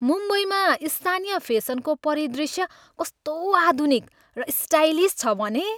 मुम्बईमा स्थानीय फेसनको परिदृश्य कस्तो आधुनिक र स्टाइलिस छ भने।